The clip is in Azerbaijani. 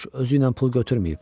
Corc özü ilə pul götürməyib.